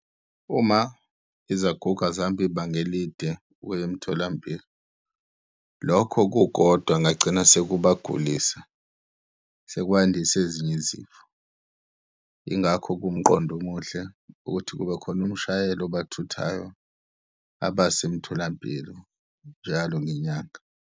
Uma izaguga zihamba ibanga elide ukuya emtholampilo, lokho kukodwa ngagcina sekubagulisa, sekwandisa ezinye izifo. Yingakho kuwumqondo omuhle ukuthi kube khona umshayeli obathuthayo abase emtholampilo njalo ngenyanga.